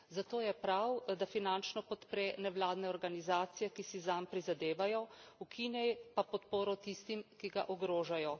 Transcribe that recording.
Zato je prav, da finančno podpre nevladne organizacije, ki si zanj prizadevajo, ukine pa podporo tistim, ki ga ogrožajo.